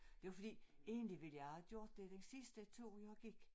Det var fordi egentlig ville jeg har gjort det den sidste tur jeg gik